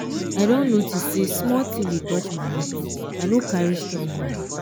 i don notice say small thing dey touch my heart i no carry strong mind